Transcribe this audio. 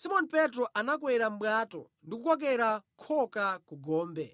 Simoni Petro anakwera mʼbwato ndi kukokera khoka ku gombe,